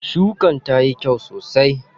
Shukan tayi kyau sosai.